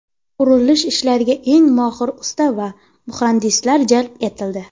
Qurilish ishlariga eng mohir usta va muhandislar jalb etildi.